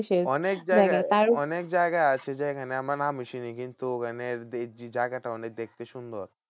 অনেক জায়গা আছে যেখানে মানে আমি চিনি কিন্তু ওখানের জায়গাটা অনেক দেখতে সুন্দর।